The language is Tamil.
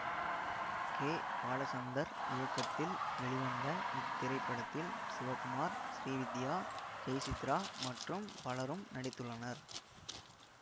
கே பாலச்சந்தர் இயக்கத்தில் வெளிவந்த இத்திரைப்படத்தில் சிவகுமார் ஸ்ரீவித்யா ஜெயசித்ரா மற்றும் பலரும் நாடித்துள்ளனர்